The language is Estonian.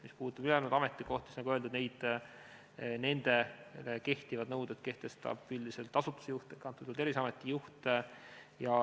Mis puudutab ülejäänud ametikohti, siis nagu öeldud, nendele kehtivad nõuded kehtestab üldiselt asutuse juht ehk antud juhul Terviseameti juht.